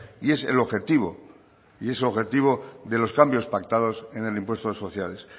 y es el objetivo y es el objetivo de los cambios pactados en el impuesto de sociedades